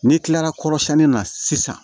N'i kilara kɔrɔsiyɛnni na sisan